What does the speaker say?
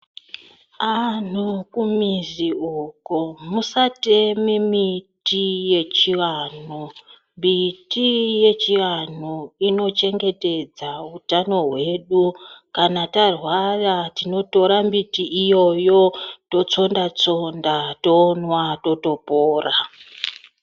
Antu kumuzi uko tisatema muti yechivantu miti yechivantu inochengetedza utano hwedu totsonda tsonda tomwa totopona